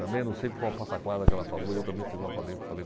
Também não sei se foi uma pataquada que ela falou, eu também fiz uma, falei falei